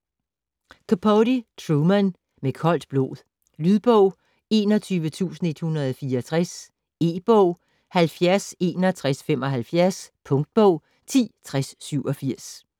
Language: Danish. Capote, Truman: Med koldt blod Lydbog 21164 E-bog 706175 Punktbog 106087